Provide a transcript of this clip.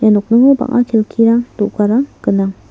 ia nokningo bang·a kelkirang do·garang gnang.